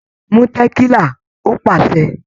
"Mú tẹ̀kílà" Ó pàṣẹ.